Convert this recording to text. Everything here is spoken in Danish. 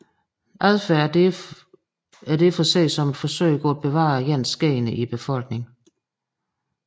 Adfærd er derfor ses som et forsøg på at bevare ens gener i befolkningen